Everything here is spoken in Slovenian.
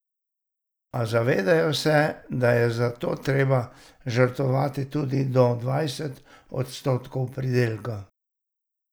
A zavedajo se, da je za to treba žrtvovati tudi do dvajset odstotkov pridelka.